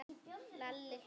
Lalli hló.